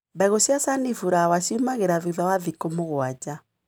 Mbegũ cia sunflawa ciumĩraga thutha wa thikũ mũgwanja.